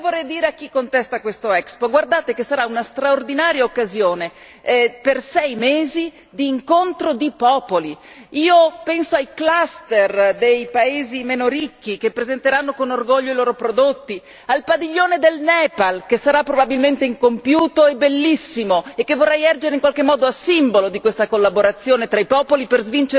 Però io vorrei dire a chi contesta questo Expo guardate che sarà una straordinaria occasione, per sei mesi, di incontro di popoli, penso ai cluster dei paesi meno ricchi che presenteranno con orgoglio i loro prodotti, al padiglione del Nepal che sarà probabilmente incompiuto e bellissimo e che vorrei ergere in qualche modo a simbolo di questa collaborazione tra i popoli per